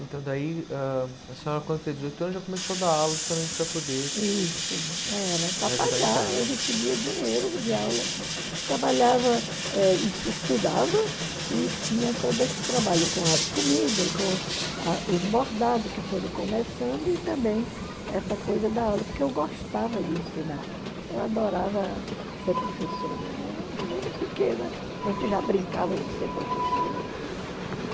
então daí ãh a senhora quando fez dezoito anos já começou a dar aulas justamente para poder isso, era para pagar eu recebia dinheiro de aula trabalhava eh e se estudava e tinha todo esse trabalho com as comidas com a os bordados que foram começando e também essa coisa da aula, porque eu gostava de ensinar, eu adorava ser professora, né pequena, a gente já brincava de ser professora, né